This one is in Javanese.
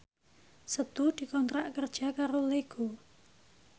Setu dikontrak kerja karo Lego